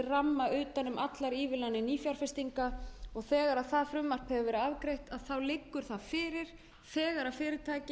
ramma utan um allar ívilnanir nýfjárfestinga þegar það frumvarp hefur verið afgreitt liggur það fyrir þegar fyrirtæki